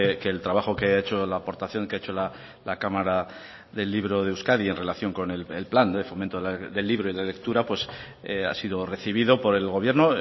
que el trabajo que ha hecho la aportación que ha hecho la cámara del libro de euskadi en relación con el plan de fomento del libro y la lectura ha sido recibido por el gobierno